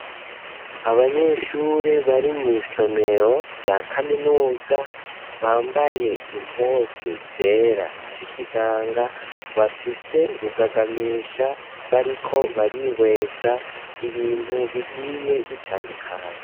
Abanyeshure bari mw'isomero rya kaminuza, bambaye impuzu zera z'ikiganga, bafise rugagamisha, bariko barihweza ibintu bigiye bitandukanye.